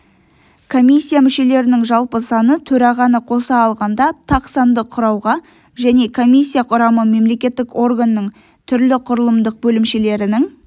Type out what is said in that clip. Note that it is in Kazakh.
комиссия мүшелерінің жалпы саны төрағаны қоса алғанда тақ санды құрауға және комиссия құрамы мемлекеттік органның түрлі құрылымдық бөлімшелерінің